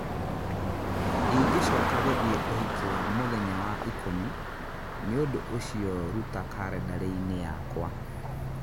ndingĩcoka gũthiĩ ũhiki wa mũthenya wa ikũmi nĩ ũndũ ũcio ruta kalendarĩ-inĩ yakwa